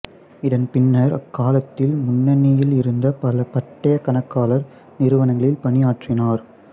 இதன்பின்னர் அக்காலத்தில் முன்னணியில் இருந்த பல பட்டயக் கணக்காளர் நிறுவனங்களில் பணியாற்றினார்